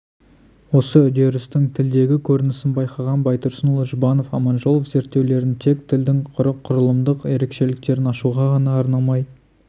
осы үдерістің тілдегі көрінісін байқаған байтұрсынұлы жұбанов аманжолов зерттеулерін тек тілдің құрылымдық ерекшеліктерін ашуға ғана арнамай